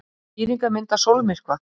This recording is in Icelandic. Skýringarmynd af sólmyrkva.